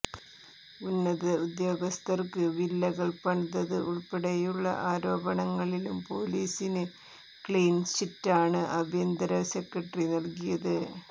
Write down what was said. ഉന്നത ഉദ്യോഗസ്ഥർക്ക് വില്ലകൾ പണിതത് ഉൾപ്പെടെയുള്ള ആരോപണങ്ങളിലും പൊലീസിന് ക്ലീൻ ചിറ്റാണ് ആഭ്യന്തര സെക്രട്ടറി നൽകിയത്